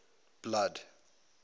blood